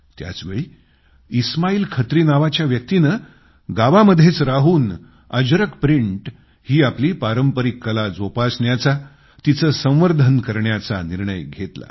त्याचवेळी इस्माईल खत्री नावाच्या व्यक्तीने गावांमध्येच राहून अजरक प्रिंट ही आपली पारंपरिक कला जोपसण्याचा तिचे संवर्धन करण्याचा निर्णय घेतला